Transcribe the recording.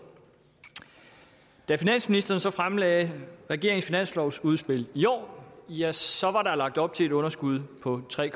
da finansministeren så fremlagde regeringens finanslovsudspil i år ja så var der lagt op til et underskud på tre